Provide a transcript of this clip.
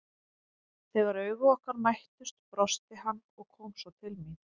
Þegar augu okkar mættust brosti hann og kom svo til mín.